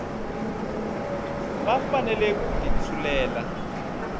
va fanele ku ti tshulela